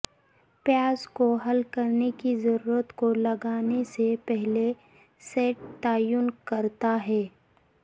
پیاز کو حل کرنے کی ضرورت کو لگانے سے پہلے سیٹھ تعین کرتا ہے